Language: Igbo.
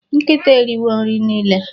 nkita eriwo nri nile